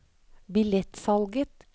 billettsalget